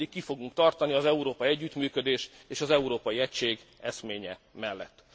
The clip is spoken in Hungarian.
Mindig ki fogunk tartani az európai együttműködés és az európai egység eszménye mellett.